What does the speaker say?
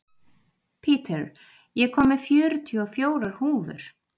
Peter, ég kom með fjörutíu og fjórar húfur!